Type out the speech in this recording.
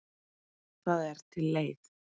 Það er til leið.